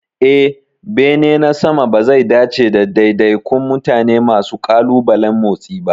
Eh, bene na sama bazai dace da daidaikun mutane masu ƙalubalen motsi ba.